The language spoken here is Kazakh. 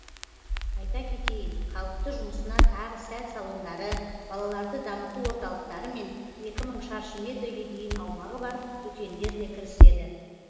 айта кетейін қалыпты жұмысына тағы сән салондары балаларды дамыту орталықтары мен екі мың шаршы метрге дейін аумағы бар дүкендерде кіріседі